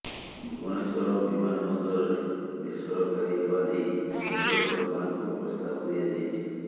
ଭୁବନେଶ୍ୱର ବିମାନ ବନ୍ଦରରେ ବେସରକାରୀ ହେବା ନେଇ କେନ୍ଦ୍ର ସରକାରଙ୍କୁ ପ୍ରସ୍ତାବ ଦିଆଯାଇଛି